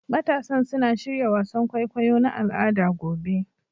Matasan suna shirya wasan kwaikwayo na al'ada gobe